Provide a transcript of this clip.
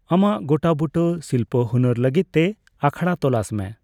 ᱟᱢᱟᱜ ᱜᱚᱴᱟᱵᱩᱴᱟᱹ ᱥᱤᱞᱯᱚ ᱦᱩᱱᱟᱹᱨ ᱞᱟᱹᱜᱤᱫ ᱛᱮ ᱟᱠᱷᱲᱟ ᱛᱚᱞᱟᱥ ᱢᱮ ᱾